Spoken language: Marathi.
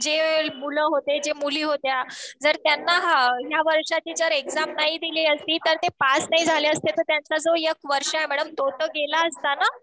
जे मुलं होते जे मुली होत्या जर त्यांना ह्या वर्षाची जर एक्झाम नाही दिली असती तर ते पास नाही झाले असते तर त्यांचं जो एक वर्ष आहे मॅडम तो तर गेला असता ना.